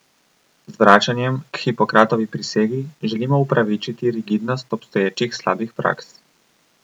Z vračanjem k Hipokratovi prisegi želimo upravičiti rigidnost obstoječih slabih praks.